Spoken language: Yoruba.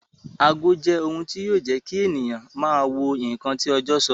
Ago jẹ́ ohun tí yọ jẹ́ kí ènìyàn máa wo ǹkan tí ọjọ́ sọ